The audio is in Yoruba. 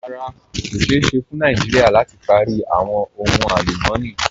Rárá, kò ṣéè ṣẹ́ fún Nàìjíríà láti pári awọn ohun alùmọ̀ní.